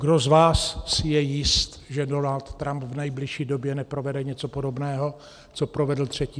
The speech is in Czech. Kdo z vás si je jist, že Donald Trump v nejbližší době neprovede něco podobného, co provedl 3. ledna?